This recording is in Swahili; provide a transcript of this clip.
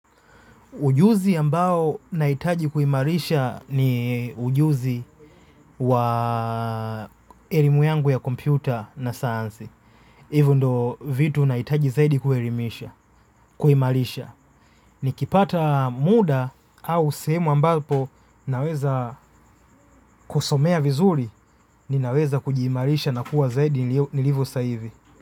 Ujuzi ambao nahitaji kuimarisha ni ujuzi wa elimu yangu ya kompyuta na sayansi. Hivyo ndo vitu nahitaji zaidi kuimarisha. Ni kipata muda au sehemu ambapo naweza kusomea vizuri ni naweza kujiimarisha na kuwa zaidi nilivo saa hivi.